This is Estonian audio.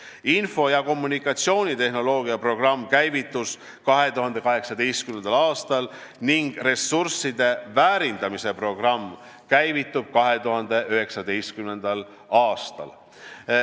Info- ja kommunikatsioonitehnoloogia programm käivitus 2018. aastal ning ressursside väärindamise programm käivitub 2019. aastal.